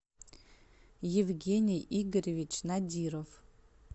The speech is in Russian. евгений игоревич надиров